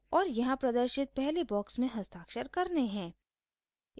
और यहाँ प्रदर्शित पहले बॉक्स में हस्ताक्षर करने हैं